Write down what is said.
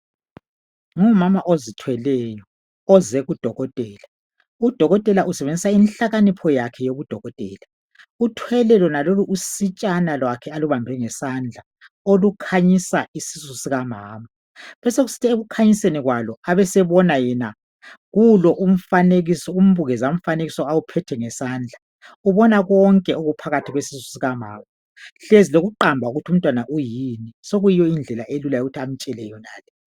Ngumama ozithweleyo oze kudokotela .Udokotela usebenzisa inhlakanipho yakhe yobudokotela .Uthwele lona lolu usitshana lwakhe alubambe ngesandla olukhanyisa isisu sika mama .Besokusithi ekukhanyiseni kwalo abesebona yena kulo umfanekiso umbukeza mfanekiso awuphethe ngesandla .Ubona konke okuphakathi kwesisu sikamama .Hlezi lokuqamba lokuthi umntwana uyini .Sokuyindlela elula yokuthi amtshele yonale .